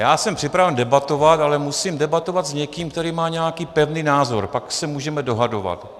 Já jsem připraven debatovat, ale musím debatovat s někým, kdo má nějaký pevný názor, pak se můžeme dohadovat.